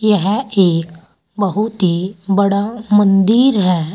यह एक बहुत ही बड़ा मंदिर है।